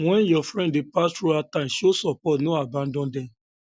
um when um your friend dey pass through hard time um show support no abandon dem